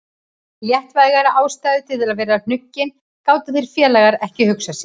Léttvægari ástæðu til að vera hnuggin gátu þeir félagar ekki hugsað sér.